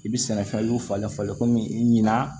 I bi sɛnɛfɛn y'u falen falen kɔmi i ɲina